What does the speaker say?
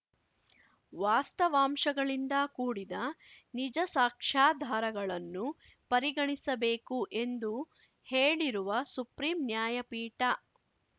ವಾಸ್ತವಾಂಶಗಳಿಂದ ಕೂಡಿದ ನಿಜ ಸಾಕ್ಷ್ಯಾಧಾರಗಳನ್ನು ಪರಿಗಣಿಸಬೇಕು ಎಂದು ಹೇಳಿರುವ ಸುಪ್ರೀಂ ನ್ಯಾಯಪೀಠ